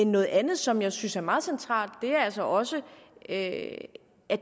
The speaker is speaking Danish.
noget andet som jeg synes er meget centralt er altså også at at